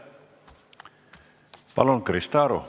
Palun, Krista Aru!